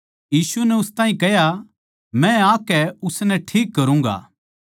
यीशु नै उस ताहीं कह्या मै आकै उसनै ठीक करूँगा